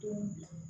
Don